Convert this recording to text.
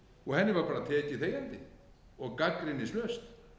og henni var bara tekið þegjandi og gagnrýnislaust